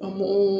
A